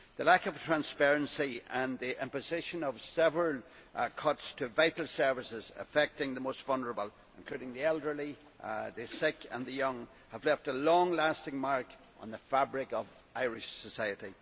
The lack of transparency and the imposition of several cuts to vital services affecting the most vulnerable, including the elderly, the sick and the young, have left a long lasting mark on the fabric of Irish society.